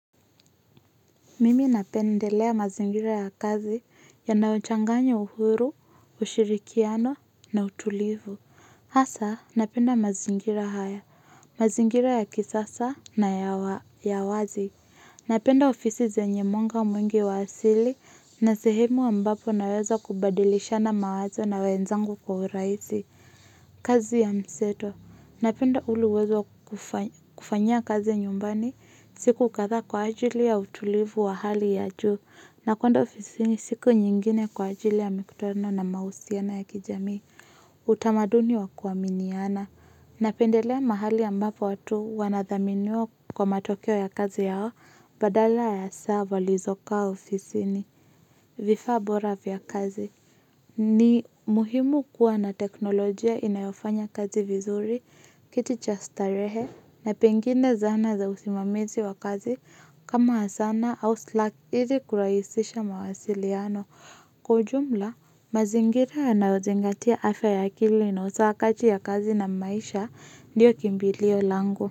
Mimi napendelea mazingira ya kazi yanayochanganya uhuru, ushirikiano na utulivu. Hasa, napenda mazingira haya, mazingira ya kisasa na ya wazi. Napenda ofisi zenye mwanga mwingi wa asili na sehemu ambapo naweza kubadilishana mawazo na wenzangu kwa urahisi. Kazi ya mseto. Napenda ule uwezo kufanya kazi nyumbani. Siku kadhaa kwa ajili ya utulivu wa hali ya juu nakwenda ofisini siku nyingine kwa ajili ya mikutano na mahusiano ya kijamii. Utamaduni wa kuaminiana. Napendelea mahali ambapo watu wanathaminiwa kwa matokeo ya kazi yao badala ya saa walizokaa ofisini vifaa bora vya kazi. Ni muhimu kuwa na teknolojia inayofanya kazi vizuri kiti cha starehe na pengine zana za usimamizi wa kazi kama asana au slack ili kurahisisha mawasiliano. Kwa ujumla mazingira anayozingatia afya ya akili na usawa kati ya kazi na maisha ndiyo kimbilio lango.